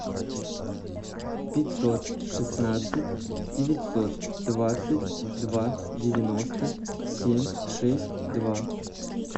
пятьсот шестнадцать девятьсот двадцать два девяносто семь шесть два